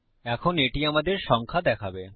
এখন এটি আমাদের সংখ্যা দেখাবে